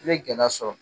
I bɛ gɛlɛya sɔrɔ